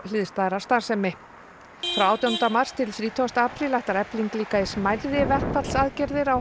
hliðstæðrar starfsemi frá átjándu mars þrítugasta apríl ætlar Efling líka í smærri verkfallsaðgerðir á